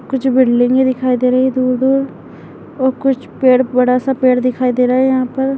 कुछ बिल्डिंग्स दिखाई दे रही है दूर दूर और कुछ पेड़ बड़ा सा पेड़ दिखाई दे रहा है ।